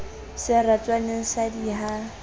seratswaneng sa d i ha